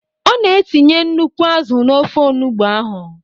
Ọ na etinye nnukwu azụ n'ofe onugbo ahụ.